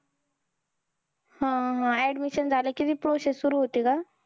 हा हा. Admission झालं कि, ती process सुरु होते का?